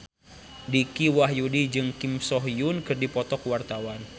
Dicky Wahyudi jeung Kim So Hyun keur dipoto ku wartawan